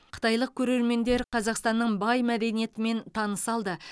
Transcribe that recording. қытайлық көрермендер қазақстанның бай мәдениетімен таныса алды